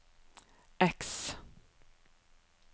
X